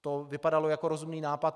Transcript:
To vypadalo jako rozumný nápad.